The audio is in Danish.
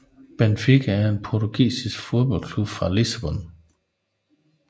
Benfica er en portugisisk fodboldklub fra Lissabon